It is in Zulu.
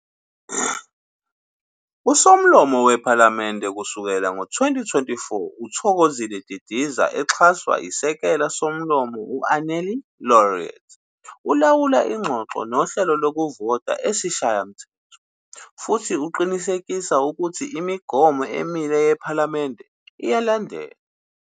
USomlomo wePhalamende, kusukela ngo2024, uThokozile Didiza, exhaswa iSekela Somlomo u-Annelie Lotriet, ulawula inxoxo nohlelo lokuvota eSishayamthetho futhi uqinisekisa ukuthi igomo emile yePhalamende iyalandelwa.